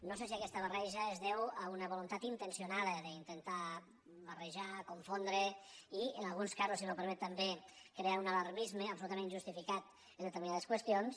no sé si aquesta barreja es deu a una voluntat intencionada d’intentar barrejar confondre i en alguns casos si m’ho permet també crear un alarmisme absoluta·ment injustificat en determinades qüestions